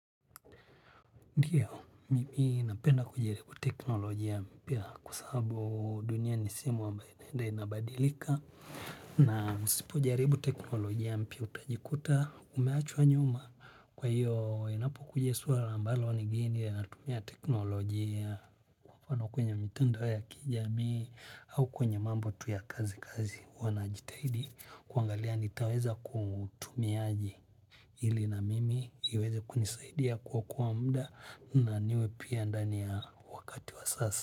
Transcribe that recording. Ndiyo, mimi napenda kujaribu teknolojia mpia kua sabu dunia nisehemu ambayo inaenda inabadilika. Na msipo jaribu teknolojia mpia utajikuta umeachua nyuma. Kwa hiyo, inapokuja suara ambalo ni geni ya natumia teknolojia. Nikiwa niko kwenye mitandao ya kijamii au kwenye mambo tu ya kazi kazi huwa najitahidi kuangalia nitaweza kutumia aje. Ili na mimi iweze kunisaidia kuokoa muda, na niwe pia ndani ya wakati wa sasa.